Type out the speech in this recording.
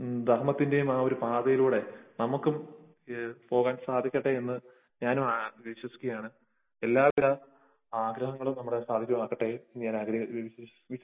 സ്നേഹത്തിന്റെയും ധർമ്മത്തിന്റെയും ആ ഒരു പാതയിലൂടെ നമുക്കും പോകാൻ സാധിക്കട്ടെ ഞാനും ആശംസിക്കുകയാണ്. എല്ലാത്തരം ആഗ്രഹങ്ങളും സാധ്യമാകട്ടെ എന്ന് ഞാൻ വിശ്വസിക്കുന്നു